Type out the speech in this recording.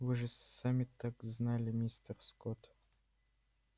вы же сами так знали мистер скотт